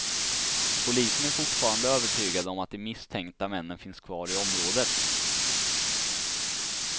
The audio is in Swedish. Polisen är fortfarande övertygade om att de misstänkta männen finns kvar i området.